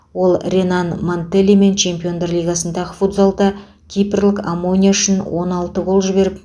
ол ренан мантеллимен чемпиондар лигасындағы футзалда кипрлік омония үшін он алты гол жіберіп